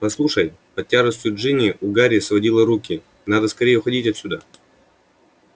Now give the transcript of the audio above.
послушай под тяжестью джинни у гарри сводило руки надо скорее уходить отсюда